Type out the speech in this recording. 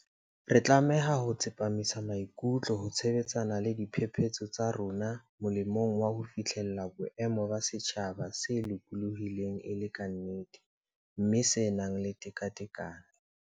Re tlameha ho tsepamisa maikutlo ho sebetsana le diphephetso tsa rona molemong wa ho fihlella boemo ba setjhaba se lokolohileng e le ka nnete, mme se nang le tekatekano.